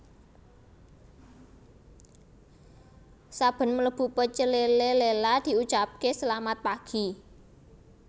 Saben mlebu Pecel Lele Lela diucapke selamat pagi